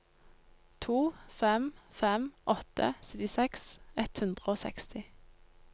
to fem fem åtte syttiseks ett hundre og seksti